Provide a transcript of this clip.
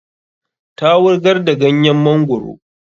Ta wurgar da ganyen mangoro